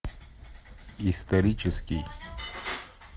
исторический